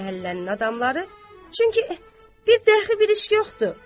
Hər məhəllənin adamları, çünki bir dəxi bir iş yoxdur.